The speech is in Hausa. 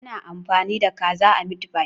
Ana amfani da kaza a mitfai?